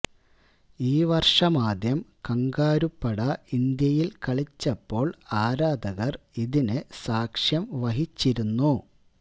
ഈ വര്ഷമാദ്യം കംഗാരുപ്പട ഇന്ത്യയില് കളിച്ചപ്പോള് ആരാധകര് ഇതിന് സാക്ഷ്യം വഹിച്ചിരുന്നു